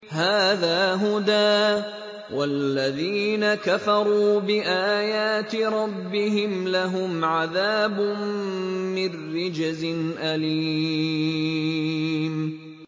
هَٰذَا هُدًى ۖ وَالَّذِينَ كَفَرُوا بِآيَاتِ رَبِّهِمْ لَهُمْ عَذَابٌ مِّن رِّجْزٍ أَلِيمٌ